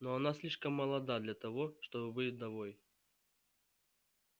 но она слишком молода для того чтобы быть вдовой